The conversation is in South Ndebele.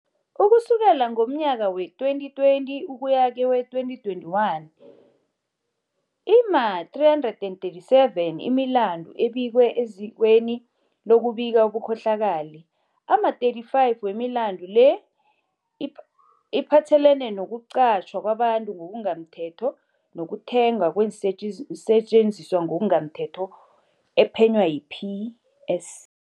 Ukusukela ngomnyaka wee-2020 ukuya kewe-2021, ima-337 imilandu ebikwe ezikweni lokubika ubukhohlakali. Ama-35 wemilandu le iphathelene nokuqatjhwa kwabantu ngokungamthetho, nokuthengwa kweensetjenziswa ngokungamthetho ephenywa yi-PS